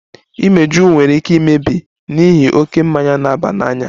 Imeju nwere ike imebi n'ihi oke mmanya na-aba n'anya